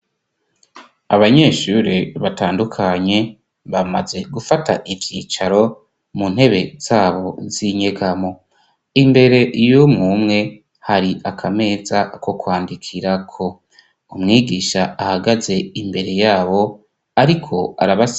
abanyeshure batandukanye bamaze gufata ivyicaro mu ntebe zabo z'inyegamo imbere y'umumwe hari akameza ko kwandikira ko umwigisha ahagaze imbere yabo ariko arabasigurira.